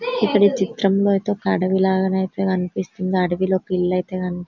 ఇక్కడ చిత్రం లో అయితే ఒక అడివిలగా నైతే కనిపిస్తుంది అడవిలో పిల్లి అయితె కని --